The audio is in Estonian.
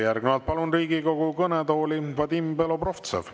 Järgnevalt palun Riigikogu kõnetooli Vadim Belobrovtsevi.